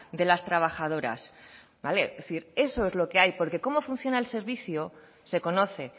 de las trabajadoras vale es decir eso es lo que hay porque cómo funciona el servicio se conoce